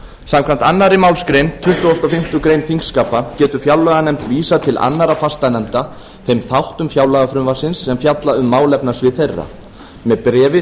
samkvæmt annarri málsgrein tuttugustu og fimmtu greinar þingskapa getur fjárlaganefnd vísað til annarra fastanefnda þeim þáttum fjárlagafrumvarpsins sem fjalla um málefnasvið þeirra með bréfi